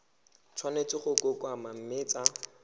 tshwanetse go kokoanngwa mme tsa